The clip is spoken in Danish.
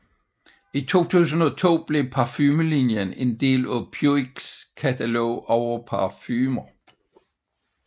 I 2002 blev parfumelinjen en del af Puigs katalog over parfumer